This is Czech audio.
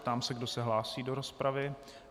Ptám se, kdo se hlásí do rozpravy.